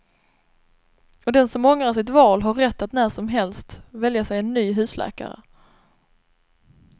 Och den som ångrar sitt val har rätt att när som helst välja sig en ny husläkare.